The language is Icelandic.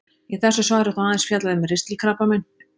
Í þessu svari er þó aðeins fjallað um ristilkrabbamein.